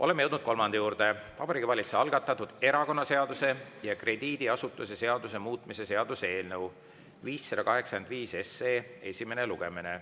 Oleme jõudnud kolmanda juurde: Vabariigi Valitsuse algatatud erakonnaseaduse ja krediidiasutuse seaduse muutmise seaduse eelnõu 585 esimene lugemine.